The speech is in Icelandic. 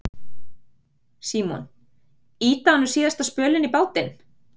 Símon: Ýta honum síðasta spölinn í bátinn?